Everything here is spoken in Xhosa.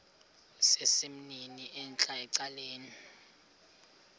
sesimnini entla ecaleni